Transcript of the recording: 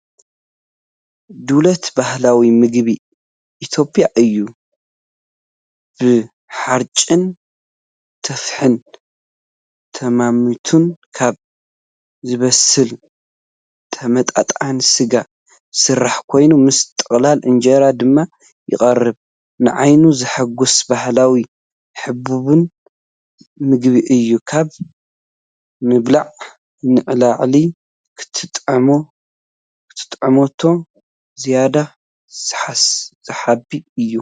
ዱሌት ባህላዊ ምግቢ ኢትዮጵያ እዩ፣ ብሓርጭን ቱፋሕን ቀመማትን ካብ ዝበሰለ ዝተመጠጠ ስጋ ዝስራሕ ኮይኑ፡ ምስ ጥቕላል እንጀራ ድማ ይቐርብ። ንዓይኒ ዘሐጉስ ባህላውን ህቡብን ምግቢ እዩ። ካብ ምብላዕ ንላዕሊ ክትጥምቶ ዝያዳ ሰሓቢ እዩ።